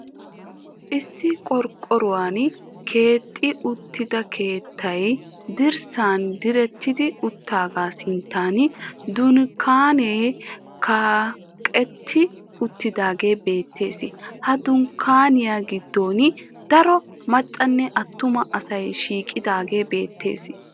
Issi qorqqoruwan keexetti uttida keettay dirssan diretti uttaagaa sinttan dunkkaanee kaqetti uttidaagee beettees. Ha dunkkaaniya giddon daro maccanne attuma asay shiiqidaagee beettees.